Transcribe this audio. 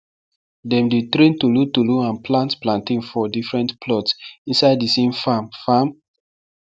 dem dey train tolotolo and plant plantain for different plots inside the same farm farm